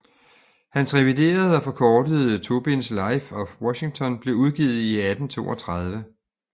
Hans reviderede og forkortede tobinds Life of Washington blev udgivet i 1832